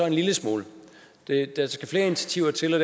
en lille smule der skal flere initiativer